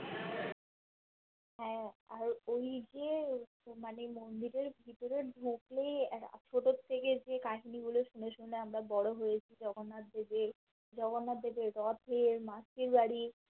হ্যাঁ আর ওইযে তো মানে মন্দিরের ভিতরে ঢুকলেই এ আজকে দেখতে গিয়ে যে কাহিনী গুলো আমরা শুনে শুনে আমরা বড়ো হয়েছি জগন্নাথদেবে জগন্নাথদেবের রথের মাসি বাড়ি